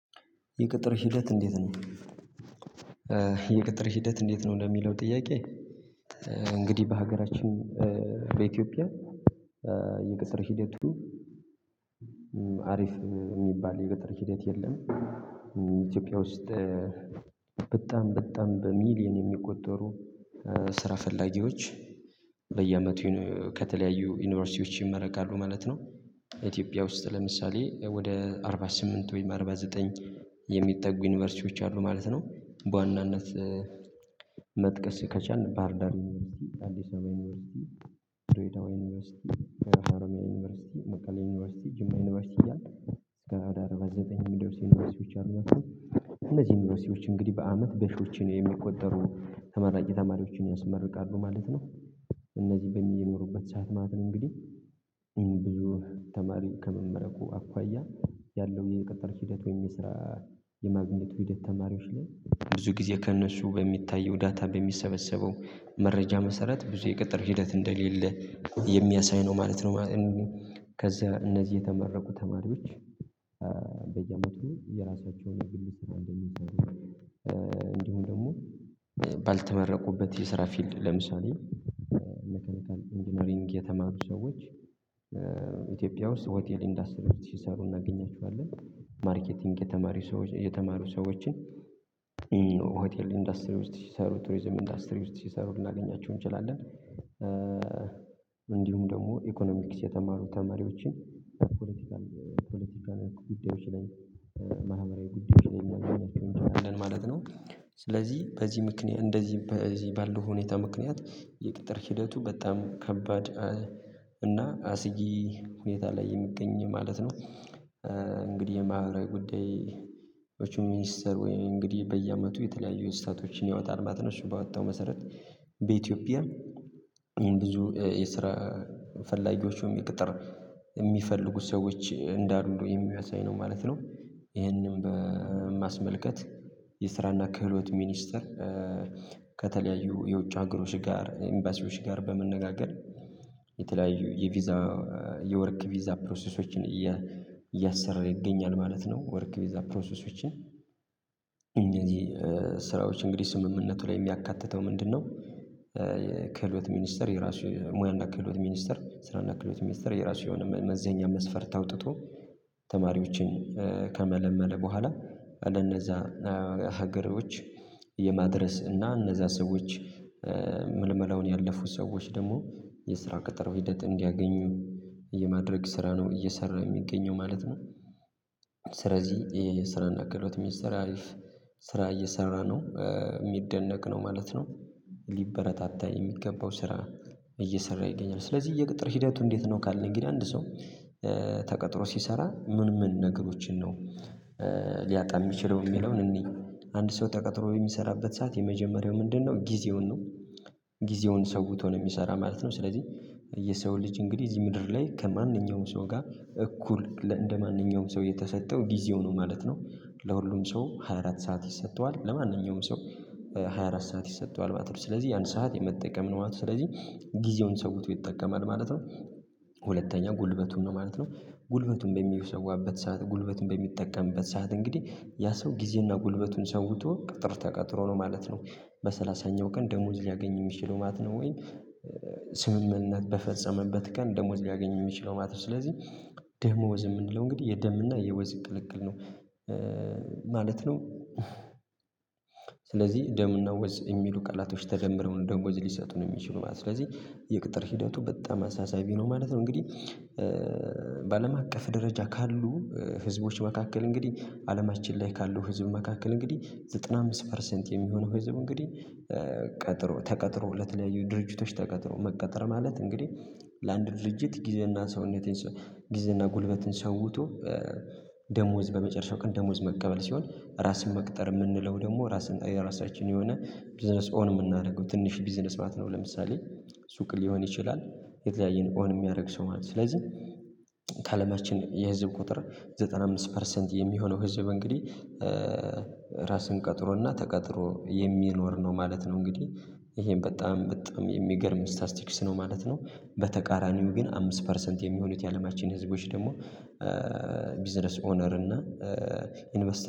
የቅጥር ሂደት እንዴት ነው? የቅጥር ሂደት እንዴት ነው እንደሚለው ጥያቄ እንግዲህ በሀገራችን በኢትዮጵያ የቅጥር ሂደቱ አሪፍ ሚባል የቅጥር ሂደት የለም። ኢትዮጵያ ውስጥ በጣም በጣም በሚሊዮን የሚቆጠሩ ስራ ፈላጊዎች በየአመቱ ከተለያዩ ዩኒቨርሲቲዎች ይመረቃሉ ማለት ነው። ኢትዮጵያ ውስጥ ለምሳሌ ወደ አርባ ስምንት ወይም አርባ ዘጠኝ የሚጠጉ ዩኒቨርሲቲዎች አሉ ማለት ነው በዋናነት መጥቀስ ከቻልን ባህርዳር ዩኒቨርሲቲ፣ አዲስ አበባ ዩኒቨርሲቲ፣ ድሬደዋ ዩኒቨርሲቲ፣ ሐረማያ ዩኒቨርሲቲ፣ መቀሌ ዩኒቨርሲቲ፣ ጅማ ዩኒቨርሲቲ እያለ እስከ ወደ አርባ በዘጠኝ ሚደርሱ ዩኒቨርሲቲዎች አሉ። እንግዲህ በአመት በሺዎች የሚቆጠሩ ተመራቂ ተማሪዎችን ያስመርቃሉ ማለት ነው። እነዚህ በሚጀምሩበት ሰዓት ማለት ነው እንግዲህ ይሄን ብዙ ተማሪ ከመመረቁ አኳያ ያለው የቅጥር ሂደት ወይም የስራ የማግኘቱ ሂደት ተማሪዎች ላይ ብዙ ጊዜ ከእነሱ በሚታየው ዳታ በሚሰበሰበው መረጃ መሰረት ብዙ የቀጠር ሂደት እንደሌለ የሚያሳይ ነው ማለት ነው። ከዛ እነዚህ የተመረቁ ተማሪዎች በየአመቱ የራሳቸውን ግል ስራ እንደሚጀምሩ እንዲሁም ደግሞ ባልተመረቁበት የስራ ፊልድ ለምሳሌ መካኒካል ኢንጂነሪንግ የተማሩ ሰዎች ኢትዮጵያ ውስጥ ሆቴል ኢንደስትሪ ውስጥ ሲሰሩ እናገኛችኋለን። የተማሩ ሰዎችን ሆቴል ኢንዱስትሪ ውስጥ ሲሰሩ፣ ቱሪዝም ኢንዱስትሪ ውስጥ ሲሰሩ ልናገኛቸው እንችላለን። እንዲሁም ደግሞ ኢኮኖሚክስ የተማሩ ተማሪዎችን ፖለቲካል ፖለቲካል ጉዳዮች ላይ መሀበራዊ ጉዳዮች ላይ ላይ ማለት ነው። ስለዚህ በዚህ ምክንያት እንደዚህ በዚህ ባለው ሁኔታ ምክንያት የቅጥር ሂደቱ በጣም ከባድ እና አስጊ ሁኔታ ላይ የሚገኝ ማለት ነው እንግዲህ የማዕበራዊ ጉዳዮች ሚኒስተር ወይም እንግዲህ በየአመቱ የተለያዩ ስታቶችን ያወጣል ማለትነው እሱ ባወጣው መሰረት በኢትዮጵያ ብዙ የስራ ፈላጊዎቹም የቅጥር የሚፈልጉ ሰዎች እንዳሉ የሚያሳይ ነው ማለት ነው። ይሄንን በማስመልከት የስራ እና ክህሎት ሚኒስተር ከተለያዩ የውጭ ሀገሮች ጋር ኢምባሲዎች ጋር በመነጋገር የተለያዩ የቪዛ የወርክ ቪዛ ፕሮሰሶችን እያሰራ ይገኛል ማለት ነው ወርክ ቪዛ ፕሮሰሶችን እነዚህ ስራዎች እንግዲህ ስምምነቱ ላይ የሚያካትተው ምንድነው የክህሎት ሚኒስተር የራሱ ሙያና ክህሎት ሚኒስተር ስራና ክህሎት ሚኒስተር የራሱ የሆነ መመዘኛ መስፈርት አውጥቶ ተማሪዎችን ከመለመለ በኋላ ወደነእዛ ሀገሮች የማድረስ እና እነዛ ሰዎች ምልመላውን ያለፉት ሰዎች ደግሞ የስራ ቅጥር ሂደት እንዲያገኙ የማድረግ ስራ ነው እየሰራ የሚገኘው ማለት ነው። ስለዚህ ይሄ የስራና ክህሎት ሚኒስትር አሪፍ ስራ እየሰራ ነው የሚደነቅ ነው ማለት ነው። ሊበረታታ የሚገባው ስራ እየሰራ ይገኛል ስለዚህ የቅጥር ሂደቱ እንዴት ነው ካለን ግን አንድ ሰው ተቀጥሮ ሲሰራ ምን ምን ነገሮችን ነው ሊያጣ የሚችለው የሚለውን እንይ አንድ ሰው ተቀጥሮ የሚሰራበት ሰዓት የመጀመሪያው ምንድነው ጊዜውን ነው ጊዜውን ሰውቶ ነው ሚሰራ ማለት ነው ስለዚህ የሰው ልጅ እንግዲህ እዚህ ምድር ላይ ከማንኛውም ሰው ጋር እኩል እንደማንኛውም ሰው የተሰጠው ጊዜው ነው ማለት ነው። ለሁሉም ሰው ሃያ አራት ሰዓት ይሰጠዋል ለማንኛውም ሰው ሃያ አራት ሰዓት ይሰጠዋል ማለት ነው። ስለዚህ ያን ሰዓት የመጠቀም ነው ስለዚህ ጊዜውን ሰውቶ ይጠቀማል ማለት ነው። ሁለተኛ ጉልበቱን ነው ማለት ነው ጉልበቱን በሚሰዋበት ሰዓት ጉልበቱን በሚጠቀምበት ሰዓት እንግዲህ ያ ሰው ጊዜና ጉልበቱን ሰውቶ ቅጥር ተቀጥሮ ነው ማለት ነው በሰላሳኛው ቀን ደሞዝ ሊያገኝ የሚችለው ማለት ነው ወይ ስምምነት በፈጸመበት ቀን ደሞዝ ሊያገኝ የሚችለው ማለት ነው። ስለዚህ ደሞዝ የምንለው እንግዲህ የደም እና የወዝ ቅልቅል ነው ማለት ነው። ስለዚህ ደምና ወዝ የሚሉ ቃላቶች ተደምረው ነው ደሞዝ ሊሰጠን የሚችሉት ስለዚህ የቅጥር ሂደቱ በጣም አሳሳቢ ነው ማለት ነው እንግዲህ በአለም አቀፍ ደረጃ ካሉ ህዝቦች መካከል እንግዲህ አለማችን ላይ ካሉ ህዝብ መካከል እንግዲህ ዘጠና አምስት ፐርሰንት የሚሆነው ወይ ዘበን እንግዲህ ቀጥሮ ተቀጥሮ ለተለያዩ ድርጅቶች ተቀጥሮ መቀጠር ማለት እንግዲህ ለአንድ ድርጅት ጊዜና ሰውነቴን ጊዜና ጉልበትን ሰውቶ ደሞዝ በመጨረሻው ቀን ደሞዝ መቀበል ሲሆን ራስን መቅጠር የምንለው ደግሞ ራስን የራሳችን የሆነ ቢዝነስ ኦን የምናደርገው ትንሽ ቢዝነስ ማት ነው ለምሳሌ ሱቅ ሊሆን ይችላል የተለያየን ኦን የሚያደርግ ሰው ማለት ነው ስለዚህ የህዝብ ቁጥር ዘጠና አምስት ፐርሰንት የሚሆነው ህዝብ እንግዲህ ራስን ቀጥሮና ተቀጥሮ የሚኖር ነው ማለት ነው እንግዲህ ይሄን በጣም በጣም የሚገርም ስታስቲክስ ነው ማለት ነው በተቃራኒው ግን አምስት ፐርሰንት የሚሆኑት የአለማችን ህዝቦች ደግሞ ቢዝነስ ኦነር እና ኢንቨስተ